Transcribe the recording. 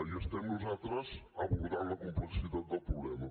i estem nosaltres abordant la complexitat del problema